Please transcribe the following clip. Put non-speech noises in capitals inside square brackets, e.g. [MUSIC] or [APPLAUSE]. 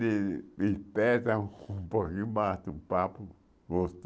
Me me [UNINTELLIGIBLE] um pouquinho bate um papo